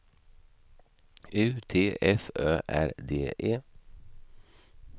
U T F Ö R D E